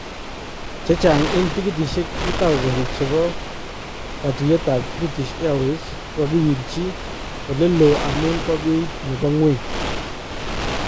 Chechang en tikititsyeek 2,000 chebo katuyeetab British Airways kokakiwirchii oleloon amun bo beiit nebo ngweny